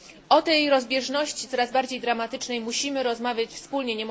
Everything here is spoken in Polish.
O tej rozbieżności, coraz bardziej dramatycznej, musimy rozmawiać wspólnie.